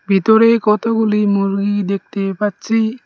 ভিতরে কতগুলি মুরগি দেখতে পাচ্ছি।